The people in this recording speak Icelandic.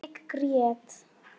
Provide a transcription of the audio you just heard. Ég grét.